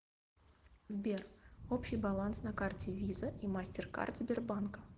сбер общий баланс на карте виза и мастер карт сбербанка